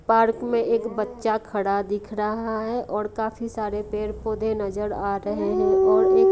park में एक बच्चा खड़ा दिख रहा है और काफी सारे पेड़ पौधे नजर आ रहे हैं और एक--